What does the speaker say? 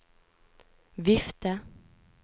vifte